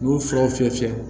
U y'u fiyɛ o fiyɛ fiyɛ